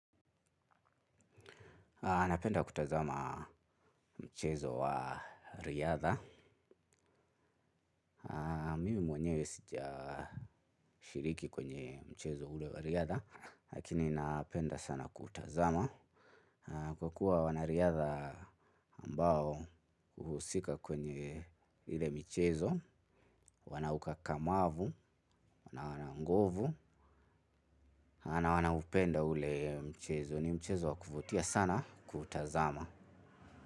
Ah napenda kutazama mchezo wa riadha mimi mwenyewe sijashiriki kwenye mchezo ule wa riadha lakini napenda sana kuutazama kwa kuwa wanariadha ambao huusika kwenye ile michezo wana ukakamavu, wana nguvu. Ah nawana upenda ule mchezo ni mchezo wakuvutia sana kutazama.